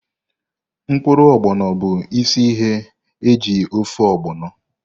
Mkpụrụ Ogbono bụ isi ihe eji ofe ogbono.